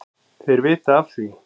Þeir vita af því,